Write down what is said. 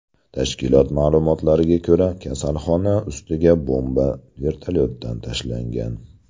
Tashkilot ma’lumotlariga ko‘ra, kasalxona ustiga bomba vertolyotdan tashlangan.